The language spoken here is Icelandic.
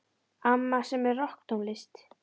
Amma semur rokktónlist.